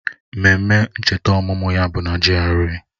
Ememe ncheta ọmụmụ ya bụ na GRA